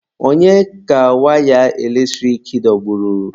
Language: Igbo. Onye ka waya eletrik dọgburu?